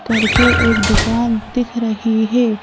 करके एक दुकान दिख रही है।